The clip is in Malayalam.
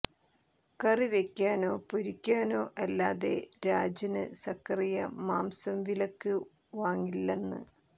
കറി വെക്കാനോ പൊരിക്കാനോ അല്ലാതെ രാജന് സക്കറിയ മാംസം വിലക്ക് വാങ്ങില്ലന്ന്